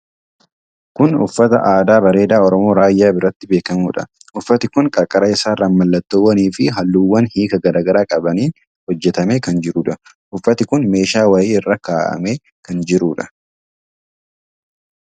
Kun uffata aadaa bareedaa Oromoo Raayyaa biratti beekamuudha. Uffati kun qarqara isaarran mallattoowwanii fi halluuwwan hiika garaa garaa qabaniin hojjatamee kan jiruudha. Uffati kun meeshaa wayii irra kaa'amee kan jiruudha.